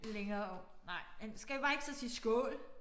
Længere om nej men skal vi bare ikke så sige skål